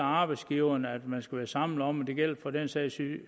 arbejdsgiverne at man skal være sammen om det gælder for den sags